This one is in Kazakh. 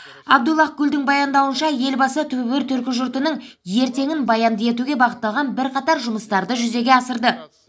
абдуллах гүлдің баяндауынша елбасы түбі бір түркі жұртының ертеңін баянды етуге бағытталған бірқатар жұмыстарды жүзеге асырды